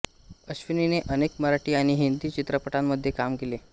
अश्विनींने अनेक मराठी आणि हिन्दी चित्रपटांमध्ये कामे केली